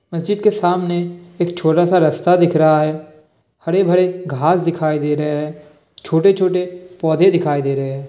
मज़्जिद के सामने एक छोटा सा रास्ता दिख रहा है। हरे भरे घास दिखाई दे रहे हैं। छोटे छोटे पौधे दिखाई दे रहे हैं।